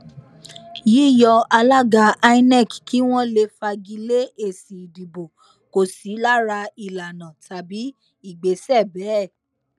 yíyọ alága inec kí wọn lè fagi lé èsì ìdìbò kò sí lára ìlànà tàbí ìgbésẹ bẹẹ